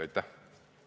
Aitäh!